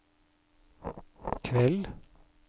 kveld